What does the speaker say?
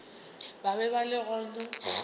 ba be ba le gona